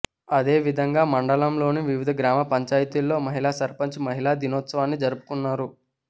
అదేవిధంగా మండలంలోని వివిధ గ్రామ పంచాయతీల్లో మహిళా సర్పంచ్లు మహిళా దినోత్సవాన్ని జరుపుకున్నారు